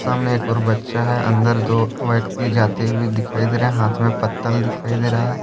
सामने एक और बच्चा है अंदर दो व्यक्ति जाते हुए दिखाई दे रहे हैं हाथ में पत्तल दिखाई दे रहा है।